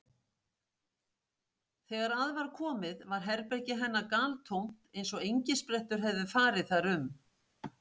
Þegar að var komið var herbergi hennar galtómt eins og engisprettur hefðu farið þar um.